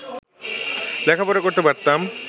লেখাপড়া করতে পারতাম